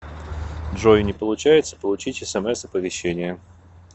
джой не получается получить смс оповещения